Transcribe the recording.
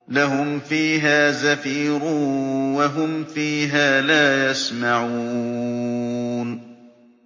لَهُمْ فِيهَا زَفِيرٌ وَهُمْ فِيهَا لَا يَسْمَعُونَ